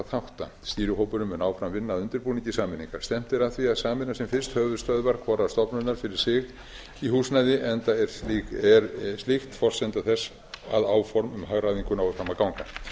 þátta stýrihópurinn mun áfram vinna að undirbúningi sameiningarinnar stefnt er að því að sameina sem fyrst höfuðstöðvar hvorrar stofnunar fyrir sig í húsnæði enda er slíkt forsenda þess að áform um hagræðingu nái fram að ganga